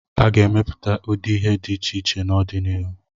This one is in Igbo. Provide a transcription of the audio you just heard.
A ga-emepụta ụdị ihe dị iche iche n'ọdịnihu.